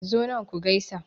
Zo nan ku gaisa.